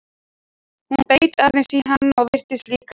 Hún beit aðeins í hana og virtist líka vel.